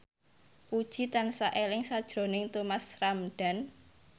Puji tansah eling sakjroning Thomas Ramdhan